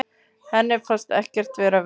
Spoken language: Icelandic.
Henni fannst ekkert vera vesen.